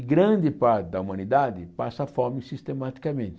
E grande parte da humanidade passa fome sistematicamente.